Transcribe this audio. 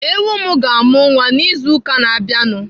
Ewu m ga-amụ nwa n'izu ụka na-abịanụ.